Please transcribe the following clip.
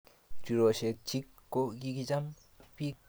riroshek chik ko kikicham ak bik chechang'